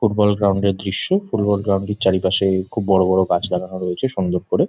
Football ground -এর দৃশ্য football ground চারপাশে খুব বরাবর গাছপালা রয়েছে সংযোগ করে ।